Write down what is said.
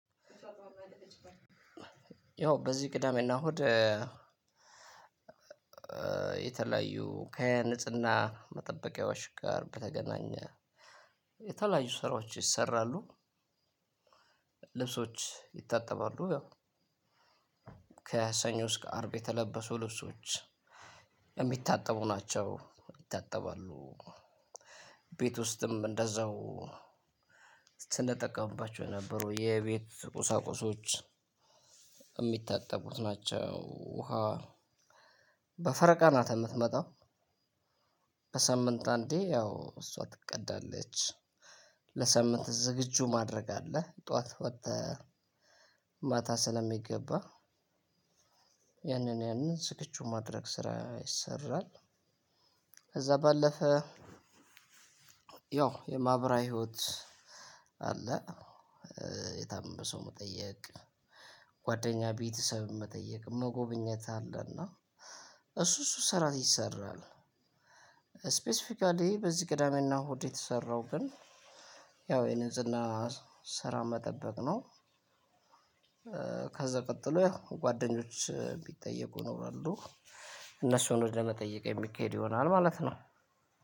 ያው በዚህ ቅዳሜና እሁድ የተለያዩ ከንጽህና መጠበቂያዎች ጋር በተገናኘ የተለያዩ ስራዎች ይሰራሉ። ልብሶች ይታጠባሉ ያው። ከሰኞ እስከ አርብ የተለበሱ ልብሶች የሚታጠቡ ናቸው ይታጠባሉ። ቤት ውስጥም እንደዛው ስንጠቀምባቸው የነበሩ የቤት ቁሳቁሶች የሚታጠቡት ናቸው። ውሃ በፈረቃ ናት የምትመጣው። በሳምንት አንዴ ያው እሷ ትቀዳለች። ለሳምንት ዝግጁ ማድረግ አለ ጠዋት ወጥተህ ማታ ስለሚገባ ያንን ያንን ዝግጁ የማድረግ ስራ ይሰራል። ከዛ ባለፈ። ያው የማህበራዊ ህይወት አለ። የታመመ ሰው መጠየቅ ጓደኛ ቤተሰብም መጠየቅ መጎብኘት አለና እሱ እሱ ስራ ይሰራል። ስፔሲፊካሊ በዚህ ቅዳሜና እሁድ የተሰራው ግን ያው የንጽህና ስራ መጠበቅ ነው። ከዛ ቀጥሎ ያው ጓደኞች እሚጠየቁ ይኖራሉ እነሱን ወደ መጠየቅ የሚሄድ ይሆናል ማለት ነው።